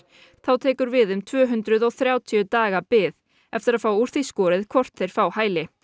þá tekur við um tvö hundruð og þrjátíu daga bið eftir að fá úr því skorið hvort þeir fái hæli